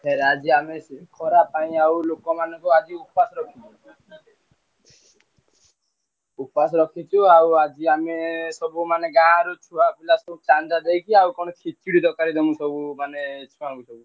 ଫେରେ ଆଜି ଆମେ ସେ ଖରା ପାଇଁ ଆଉ ଲୋକମାନଙ୍କୁ ଆଜି ଉପାସ କରିଛୁ ଉପାସ ରଖିଛୁ ଆଉ ଆଜି ଆମେ ସବୁ ମାନେ ଗାଁରୁ ଛୁଆ ପିଲା ସବୁ ଚାନ୍ଦା ଦେଇଛୁ ଆଉ କଣ ତାଙ୍କୁ ସବୁ ମାନେ ଛୁଆଙ୍କୁ ସବୁ।